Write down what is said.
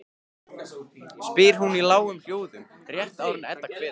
spyr hún í lágum hljóðum rétt áður en Edda kveður.